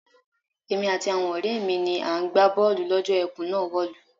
Èmi àti àwo̩n ò̩ré̩ mi ni à ń gbá bó̩ò̩lù ló̩jó̩ e̩kùn náà wò̩lú.